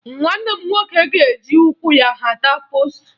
Nwanne m nwoke ga-eji ụkwụ ya hata poostu